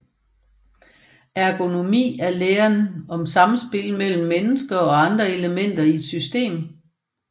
Ergonomi er læren om samspil mellem mennesker og andre elementer i et system